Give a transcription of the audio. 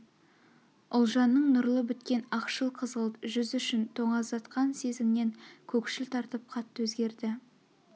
ұлжанның нұрлы біткен ақшыл-қызғылт жүз ішін тоңазытқан сезімнен көкшіл тартып қатты өзгерді